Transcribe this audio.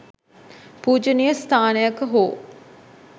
පූජනීය ස්ථානයක හෝ